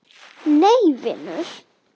Nei vinur.